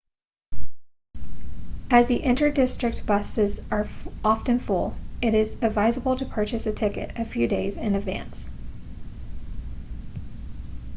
as the inter-district buses are often full it is advisable to purchase a ticket a few days in advance